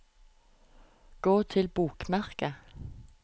gå til bokmerke